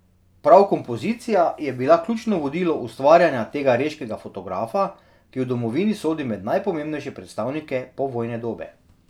Prav kompozicija je bila ključno vodilo ustvarjanja tega reškega fotografa, ki v domovini sodi med najpomembnejše predstavnike povojne dobe.